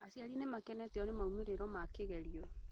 Aciari nĩ makenetio nĩ moimĩrĩro ma kĩgerio